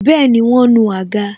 Bẹẹni, wọn nu àga